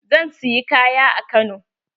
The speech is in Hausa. Zan siyi kaya a Kano.